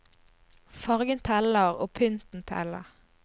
Fargen teller, og pynten teller.